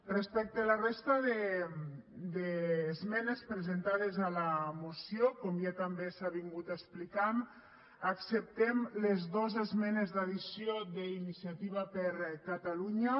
respecte a la resta d’esmenes presentades a la moció com ja també s’ha explicat acceptem les dos esmenes d’addició d’iniciativa per catalunya